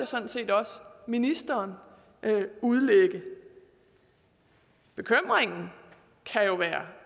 sådan set også ministeren udlægge bekymringen kan jo være